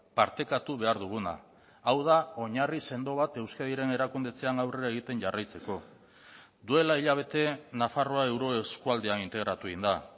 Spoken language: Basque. partekatu behar duguna hau da oinarri sendo bat euskadiren erakundetzean aurrera egiten jarraitzeko duela hilabete nafarroa euroeskualdean integratu egin da